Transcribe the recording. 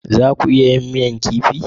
Za a iya yin miya kifi?